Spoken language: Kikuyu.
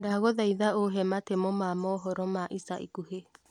ndagũthaitha ũhe matemo ma mohoro ma ica ikuhĩ